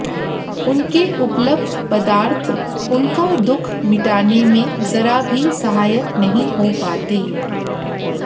उनके उपलब्ध पदार्थ उनका दुःख मिटाने में जरा भी सहायक नहीं हो पाते